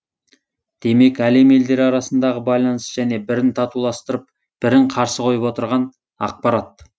демек әлем елдері арасындағы байланыс және бірін татуластырып бірін қарсы қойып отырған ақпарат